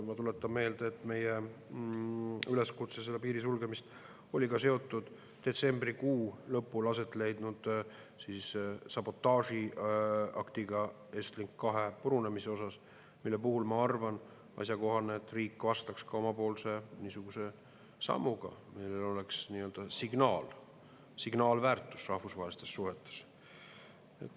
Ma tuletan meelde, et meie üleskutse see piir sulgeda oli ka seotud detsembrikuu lõpul aset leidnud sabotaažiaktiga, Estlink 2 purunemisega, mille puhul, ma arvan, on asjakohane, et riik vastaks niisuguse omapoolse sammuga, millel oleks nii-öelda signaalväärtus rahvusvahelistes suhetes.